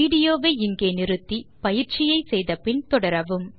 விடியோவை இங்கே இடைநிறுத்தி கொடுத்த பயிற்சியை செய்தபின் தொடரவும்